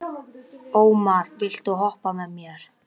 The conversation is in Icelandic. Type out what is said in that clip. Ormar, viltu hoppa með mér?